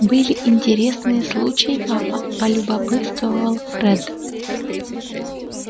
были интересные случаи папа полюбопытствовал фред